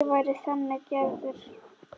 Ég væri þannig gerður.